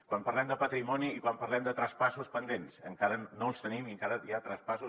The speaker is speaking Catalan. quan parlem de patrimoni i quan parlem de traspassos pendents encara no els tenim i encara hi ha traspassos